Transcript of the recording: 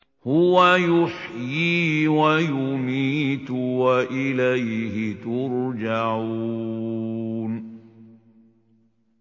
هُوَ يُحْيِي وَيُمِيتُ وَإِلَيْهِ تُرْجَعُونَ